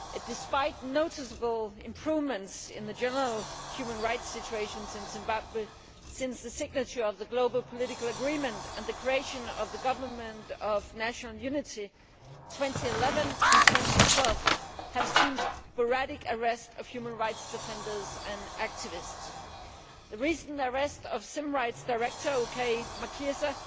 Despite noticeable improvements in the general human rights situation in Zimbabwe since the signature of the Global Political Agreement and the creation of the Government of National Unity, 2011 and 2012 saw sporadic arrests of human rights defenders and activists. The recent arrest of the ZimRights Director, Okay Machisa,